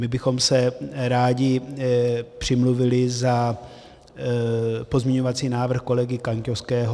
My bychom se rádi přimluvili za pozměňovací návrh kolegy Kaňkovského.